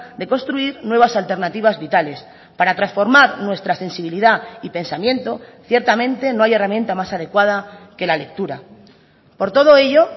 de construir nuevas alternativas vitales para transformar nuestra sensibilidad y pensamiento ciertamente no hay herramienta más adecuada que la lectura por todo ello